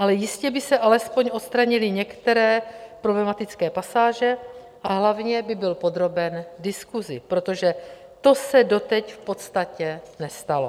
Ale jistě by se alespoň odstranily některé problematické pasáže a hlavně by byl podroben diskusi, protože to se doteď v podstatě nestalo.